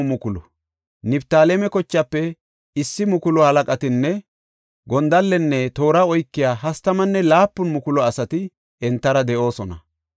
Niftaaleme kochaafe 1,000 halaqatinne gondallenne toora oykiya 37,000 asati entara de7oosona.